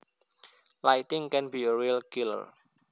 Lighting can be a real killer